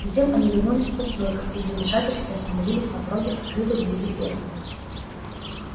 затем они вернулись к постройкам и в замешательстве остановились на пороге открытой двери фермы